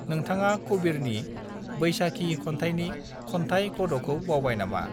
नोंथाङा कबीरनि बै साखी खन्थायनि खन्थाय गदखौ बावबाय नामा